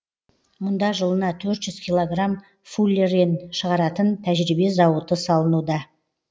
мұнда жылына төрт жүз килограмм фуллерен шығаратын тәжірибе зауыты салынуда